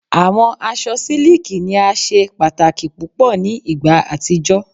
Awọn aṣọ siliki ni a ṣe pataki pupọ ni igba atijọ